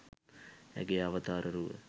ඇගේ අවතාර රුව